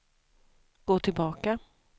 gå tillbaka